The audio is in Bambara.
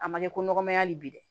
A ma ɲɛ ko nɔgɔ ma y'ali bi dɛ